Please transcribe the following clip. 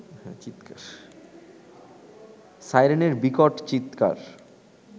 সাইরেনের বিকট চিৎকার